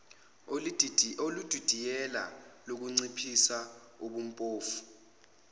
oludidiyele lokunciphisa ubuphofu